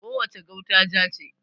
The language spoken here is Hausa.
Ko wace gauta ja ce.